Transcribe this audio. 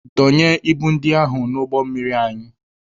Dọnye ibu ndị ahụ n'ụgbọ mmiri anyị!